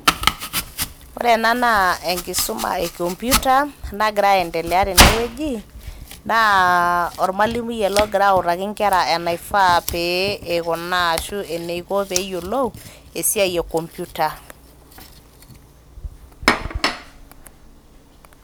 ore ena naa enkisuma e computer nagira aendelea tene wueji. naa ormwalimui ele ogira autaki inkera enaifaa pee eikunaa ashu eneiko peyiolou esiai e computer